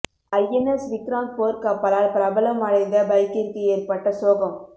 INS Vikrant போர் கப்பலால் பிரபலம் அடைந்த பைக்கிற்கு ஏற்பட்ட சோகம்